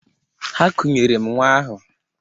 Ha kunyere m nnwa ahụ.